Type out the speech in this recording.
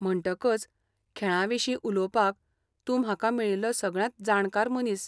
म्हणटकच, खेळां विशीं उलोवपाक, तूं म्हाका मेळिल्लो सगळ्यांत जाणकार मनीस.